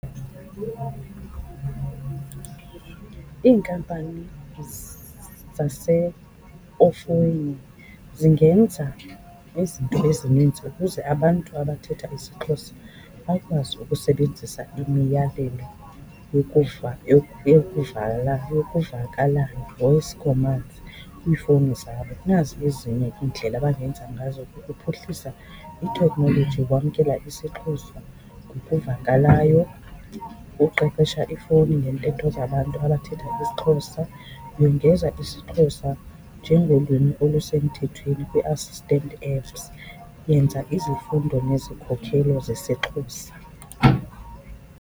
Iinkampani efowunini zingenza izinto ezininzi ukuze abantu abathetha isiXhosa bakwazi ukusebenzisa imiyalelo yokuvakalayo, voice commands, kwiifowuni zabo. Nazi ezinye iindlela abangenza ngazo ukuphuhlisa itekhnoloji yokwamkela isiXhosa ngokuvakalayo. Ukuqeqesha iifowuni ngeentetho zabantu abathetha isiXhosa, yongeza isiXhosa njengolwimi olusemthethweni kwi-assistant apps, yenza izifundo nezikhokelo zesiXhosa.